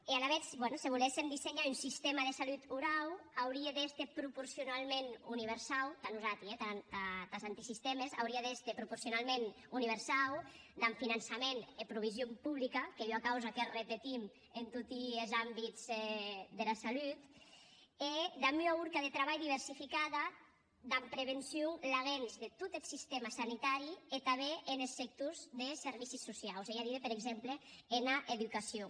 e alavetz ben se voléssem dessenhar un sistèma de salut orau aurie d’èster proporcionaument universau tà nosati eh tàs antisistèmes aurie d’èster proporcionaument universau damb finançament e provision publica qu’ei ua causa que repetim en toti es àmbits dera salut e damb ua horca de trabalh diversificada damb prevencion laguens de tot es sistèma sanitari e tanben enes sectors de servicis sociaus ei a díder per exemple ena educacion